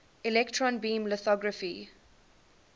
electron beam lithography